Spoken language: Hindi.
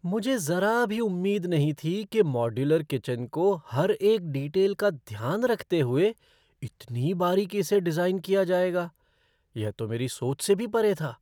मुझे ज़रा भी उम्मीद नहीं थी कि मॉड्यूलर किचन को हर एक डिटेल का ध्यान रखते हुए इतनी बारीकी से डिज़ाइन किया जाएगा! यह तो मेरी सोच से भी परे था।